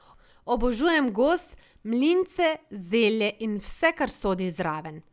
Obožujem gos, mlince, zelje in vse kar sodi zraven.